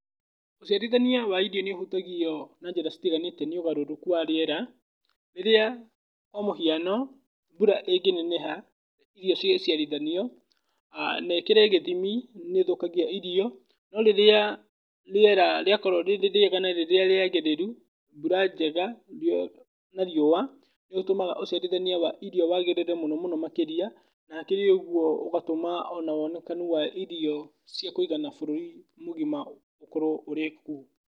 Ũciarithania wa irio nĩ ũhutagio na njĩra citiganĩte na ũgarũrũku wa rĩera, rĩrĩa kwa mũhiano mbura ĩngĩneneha, irio cigĩciarithanio, na ĩkĩre gĩthimi nĩ ũthũkagia irio, no rĩrĩa rĩera rĩakorwo rĩrĩ rĩega na rĩrĩa rĩagĩrĩru, mbura njega, na riũa, nĩ gũtũmaga ũciarithania wa irio wagĩrĩre mũno mũno makĩria, na hakĩrĩ ũguo ũgatũma ona wonekani wa irio cia kũigana bũruri mũgima ũkorwo ũrĩ kuo.